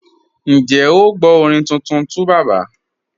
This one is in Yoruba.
Ǹjẹ́ o gbọ orin tuntun 2Baba?